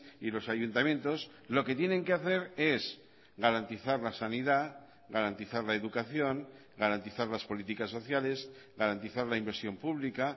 y los ayuntamientos lo que tienen que hacer es garantizar la sanidad garantizar la educación garantizar las políticas sociales garantizar la inversión pública